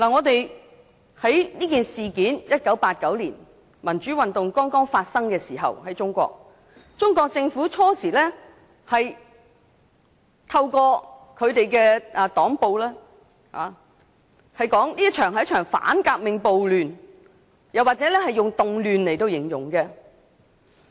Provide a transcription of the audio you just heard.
當1989年民主運動剛在中國發生時，中國政府初時透過黨報說這是一場反革命暴亂，又或以"動亂"來形容。